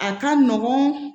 A ka nɔgɔn